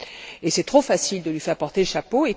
Et c'est trop facile de lui faire porter le chapeau.